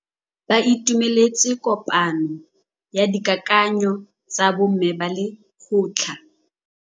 Ba itumeletse kôpanyo ya dikakanyô tsa bo mme ba lekgotla.